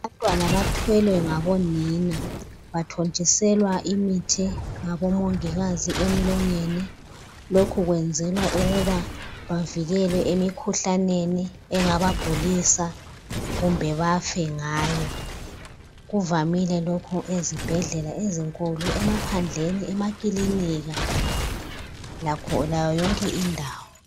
abantwana bathwelwe ngabonina bathontiselwa imithi ngabo mongikazi emlonyeni lokhu kuyenzelwa ukuba bavikelwe emikhuhlaneni engabagulisa kumbe bafe ngayo kuvamile lokho ezibhedlela ezinkulu emaphandleniemakilinika lakho yonke indawo